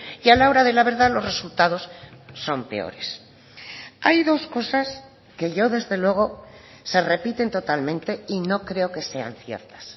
y a la hora de la verdad los resultados son peores hay dos cosas que yo desde luego se repiten totalmente y no creo que sean ciertas